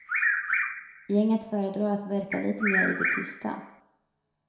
Gänget föredrar att verka lite mer i det tysta.